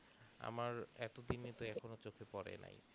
আমার এত দিনে তো চোখে পরে না